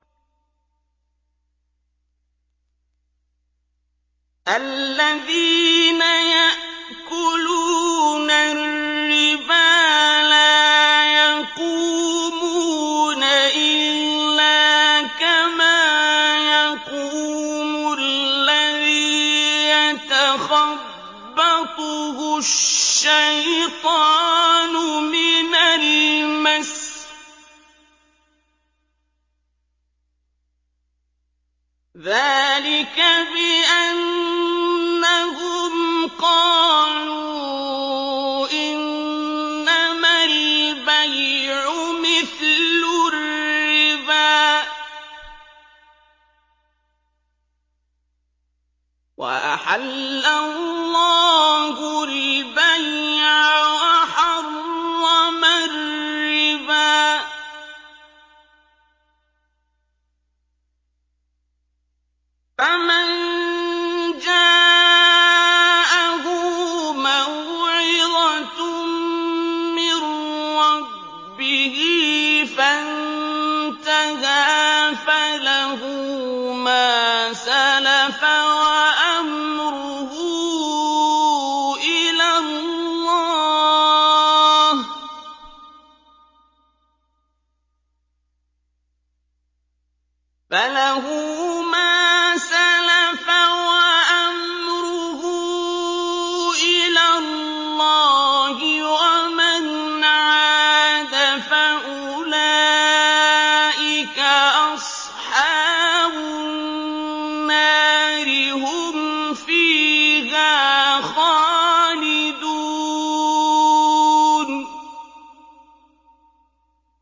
الَّذِينَ يَأْكُلُونَ الرِّبَا لَا يَقُومُونَ إِلَّا كَمَا يَقُومُ الَّذِي يَتَخَبَّطُهُ الشَّيْطَانُ مِنَ الْمَسِّ ۚ ذَٰلِكَ بِأَنَّهُمْ قَالُوا إِنَّمَا الْبَيْعُ مِثْلُ الرِّبَا ۗ وَأَحَلَّ اللَّهُ الْبَيْعَ وَحَرَّمَ الرِّبَا ۚ فَمَن جَاءَهُ مَوْعِظَةٌ مِّن رَّبِّهِ فَانتَهَىٰ فَلَهُ مَا سَلَفَ وَأَمْرُهُ إِلَى اللَّهِ ۖ وَمَنْ عَادَ فَأُولَٰئِكَ أَصْحَابُ النَّارِ ۖ هُمْ فِيهَا خَالِدُونَ